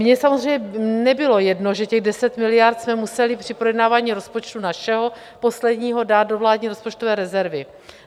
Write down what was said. Mně samozřejmě nebylo jedno, že těch 10 miliard jsme museli při projednávání rozpočtu - našeho posledního - dát do vládní rozpočtové rezervy.